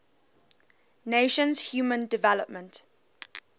nations human development